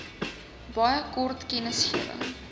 baie kort kennisgewing